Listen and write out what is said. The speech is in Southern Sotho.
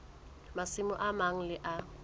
masimo a mang le a